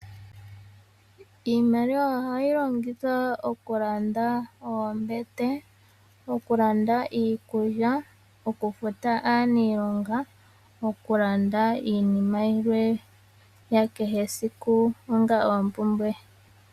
Iimaliwa ohayi longithwa okulanda oombete, iikulya, okufuta aanilonga nosho wo okulanda iinima yilwe yakehe siku onga oompumbwe.